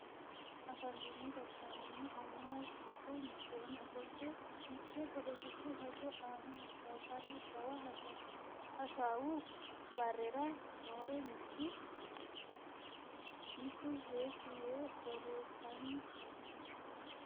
Afantino gashshaanonna annuwu giddo mitteenni ofolte mitte poletiku hajo aana hasaabbara jawa hasaawu barera noore mitu heeshshi yee borreessanni no